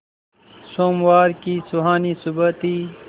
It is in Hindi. सोमवार की सुहानी सुबह थी